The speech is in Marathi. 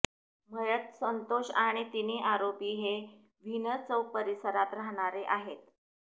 मयत संतोष आणि तिन्ही आरोपी हे व्हीनस चौक परिसरात राहणारे आहेत